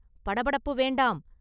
படபடப்பு வேண்டாம்!